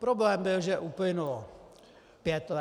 Problém byl, že uplynulo pět let -